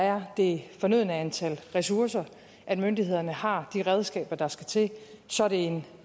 er det fornødne antal ressourcer at myndighederne har de redskaber der skal til så er det en